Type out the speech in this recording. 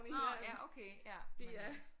Nå ja okay ja men øh